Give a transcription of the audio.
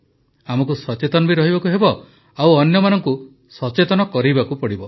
ଆମକୁ ସଚେତନ ବି ରହିବାକୁ ହେବ ଆଉ ଅନ୍ୟମାନଙ୍କୁ ସଚେତନ କରିବାକୁ ହେବ